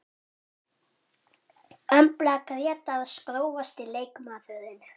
Embla Grétars Grófasti leikmaðurinn?